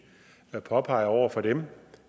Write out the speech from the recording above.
og påpeger over for dem